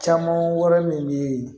Caman wɛrɛ min bɛ yen